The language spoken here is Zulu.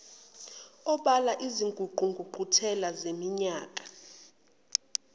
obala izingqungquthela zaminyaka